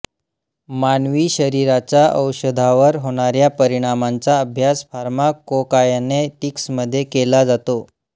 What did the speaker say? मानवी शरीराचा औषधावर होणाऱ्या परिणामांचा अभ्यास फार्माकोकायनेटिक्समध्ये केला जातो